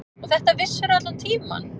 Og þetta vissirðu allan tímann.